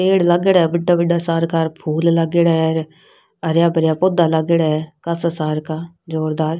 पेड़ लग रहा है बड़ा बड़ा फूल लागेड़ा है और हराया भराया पौधा लागेड़ा है कससार का ज़ोरदार।